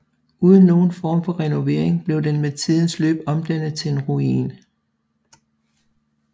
Uden nogen form for renovering blev den med tidens løb omdannet til en ruin